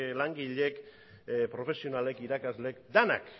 langileek profesionalek irakasleek denok